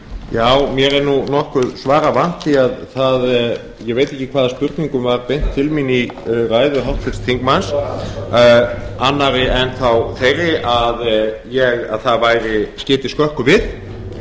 herra forseti mér er nú nokkuð svara vant því ég veit ekki hvaða spurningum var beint til mín í ræðu háttvirts þingmanns annarri en þá þeirri að það skyti skökku við